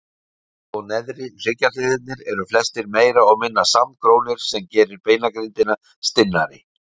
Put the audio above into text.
Mið- og neðri hryggjarliðirnir eru flestir meira og minna samgrónir sem gerir beinagrindina stinnari.